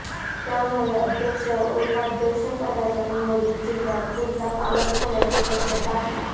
त्यामुळे अध्यक्ष व उपाध्यक्षपदाच्या निवडीत जिल्ह्यात उलथापालट होण्याची शक्यता आहे